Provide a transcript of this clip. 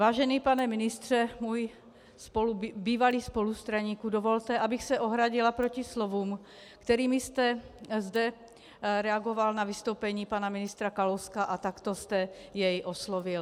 Vážený pane ministře, můj bývalý spolustraníku, dovolte, abych se ohradila proti slovům, kterými jste zde reagoval na vystoupení pana ministra Kalouska a takto jste jej oslovil.